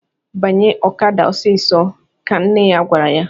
"Banye okada ọsịịsọ!" ka nne ya gwara ya.